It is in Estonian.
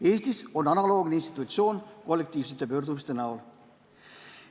Eestis on analoogne institutsioon kollektiivsete pöördumiste näol.